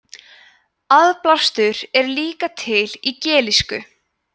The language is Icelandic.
aðblástur er líka til í gelísku